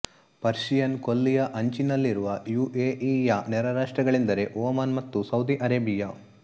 Persian ಕೊಲ್ಲಿಯ ಅಂಚಿನಲ್ಲಿರುವ U A E ಯ ನೆರೆರಾಷ್ಟ್ರಗಳೆಂದರೆ ಒಮಾನ್ ಮತ್ತು ಸೌದಿ ಅರೆಬಿಯ